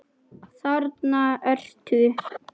Þarna ertu!